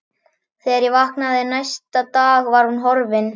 Þegar ég vaknaði næsta dag var hún horfin.